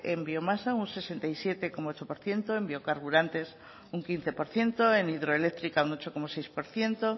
en biomasa un sesenta y siete coma ocho por ciento en biocarburantes un quince por ciento en hidroeléctrica un ocho coma seis por ciento